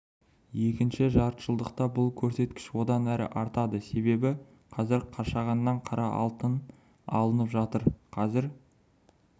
екінші жартыжылдықта бұл көрсеткіш одан әрі артады себебі қазір қашағаннан қара алтын алынып жатыр қазір